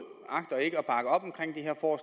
og